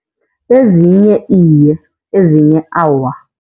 Ezinye iye, ezinye awa.